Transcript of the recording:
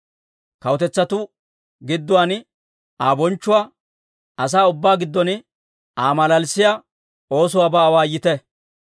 Kawutetsatuu gidduwaan Aa bonchchuwaa, asaa ubbaa giddon Aa malalissiyaa oosuwaabaa awaayite.